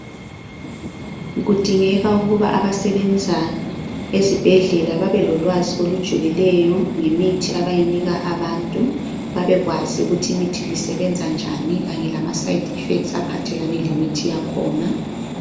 Kudingeka ukuba abasebenza ezibhedlela babelolwazi olujulileyo ngemithi abayinika abantu babekwazi ukuthi imithi le isebenza njani kanye lamaside effects aphathelane lemithi yakhona.